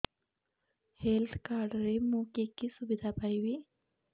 health card ରେ ମୁଁ କି କି ସୁବିଧା ପାଇବି